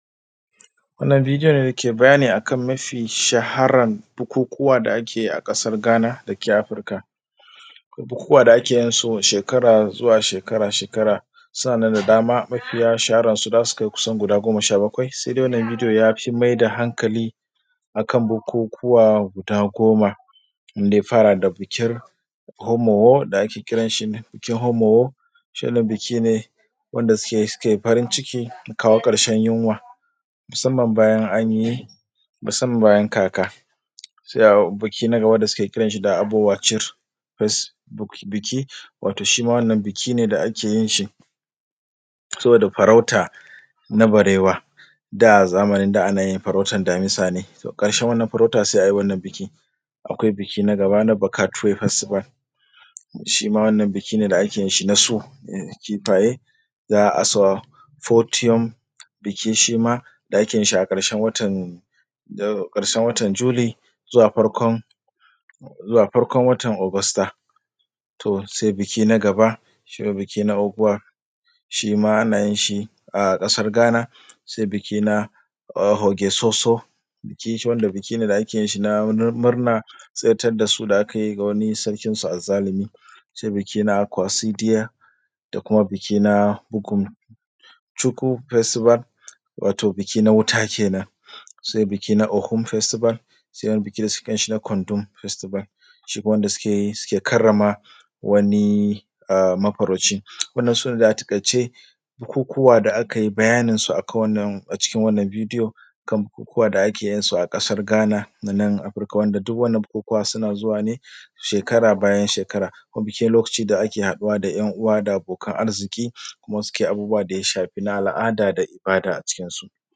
Wannan bidiyo dake bayani game da mafi shaharar bukukuwa da ake yi a ƙasar Ghana dake Afrika, bukukuwa da ake yin su shekara-shekara mafi shahara za su kai guda goma sha bakwai sai dai sun fi maida hankali akan bukukuwa guda goma. Wanda ya fara da bikin Homowo da ake kiran shi da bikin Homowo, shi ɗin biki ne da suke yin farin ciki na kawo ƙarshen yunwa musamman bayan kaka. Suna biki wanda suke kiran shi da Wacir, shi ma biki ne da suke yin shi saboda farauta na barewa, da zamani da ake yin farauta na damisa ne sai a yi wannan biki. Akwai biki na Gabana, na Bukatuwelas, shi ma wannan biki ne ake yin shi nasu na kifaye da Aswapodium. Biki ne shi ma da ake yin shi a ƙarshen watan July zuwa farkon watan August. Sai biki na Rubwan, shi ma ana yin shi a ƙasar Ghana. Sai biki na Hokesoso, shi ma biki ne da ake yin shi na murna na tsirar da sunan da aka yi na wani sarkinsu azzalumi. Sai biki na Kwarsitiya, sai kuma biki na Bukumcuku festival, wato biki na wuta kenan. Sai biki na Okun festival, sai biki na Kondum festival, shi ne wanda suke karrama wani mafarauci. Wannan dai su ne a taƙaice bukukuwa da aka yi bayanin su a cikin wannan bidiyo kan bukukuwa da ake yin su a ƙasar Ghana dake nan Afrika, wanda duk wannan bukukuwa suna zuwa ne shekara bayan shekara. Shi ne lokacin da ake haɗuwa da ‘yan uwa da abokan arziki kuma ake abubuwa da ya shafi na al’ada da ibada a cikin su.